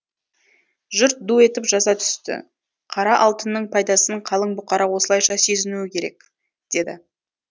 жұрт ду етіп жаза түсті қара алтынның пайдасын қалың бұқара осылайша сезінуі керек деді